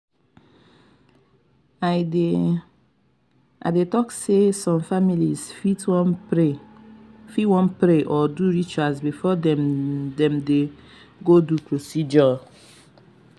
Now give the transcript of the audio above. i dey um talk say some families fit wan pray um or do rituals before dem dem go do procedure.